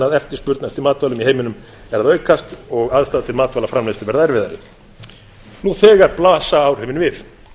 vaxandi eftirspurn eftir matvælum í heiminum á meðan aðstæður til matvælaframleiðslu færu víða versnandi nú þegar blasa áhrifin við